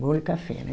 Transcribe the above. Bolo e café, né?